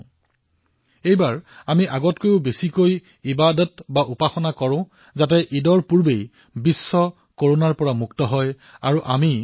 এইবাৰ আমি পূৰ্বতকৈও অধিক ইবাদত কৰো যাতে ঈদৰ পূৰ্বে সমগ্ৰ বিশ্ব কৰোনা মুক্ত হৈ পৰে